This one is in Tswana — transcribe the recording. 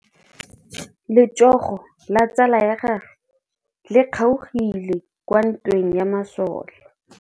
Letsôgô la tsala ya gagwe le kgaogile kwa ntweng ya masole.